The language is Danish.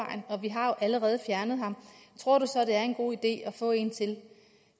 vi har jo allerede fjernet ham tror du så det er en god idé at få en til